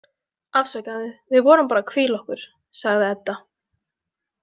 Afsakaðu, við vorum bara að hvíla okkur, sagði Edda.